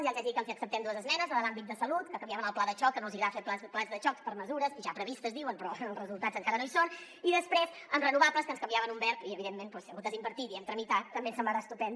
ja els hi haig de dir que els hi acceptem dues esmenes la de l’àmbit de salut que canviaven el pla de xoc que no els hi agrada fer plans de xoc per mesures ja previstes diuen però els resultats encara no hi són i després en renovables que ens canviaven un verb i evidentment si en comptes d’ invertir diem tramitar també ens semblarà estupend